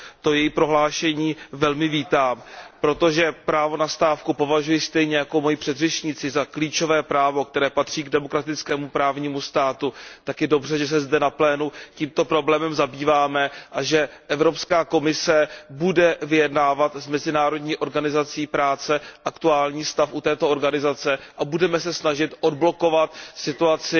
To její prohlášení velmi vítám, protože právo na stávku považuji stejně jako moji předřečníci za klíčové právo, které patří k demokratickému právnímu státu, tak je dobře, že se zde v plénu tímto problémem zabýváme, že Evropská komise bude vyjednávat s Mezinárodní organizací práce aktuální stav u této organizace a že se budeme snažit odblokovat situaci